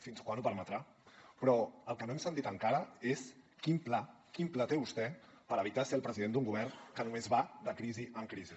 fins quan ho permetrà però el que no hem sentit encara és quin pla té vostè per evitar ser el president d’un govern que només va de crisi en crisi